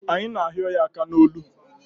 Anyị na ahịo ya aka n'olu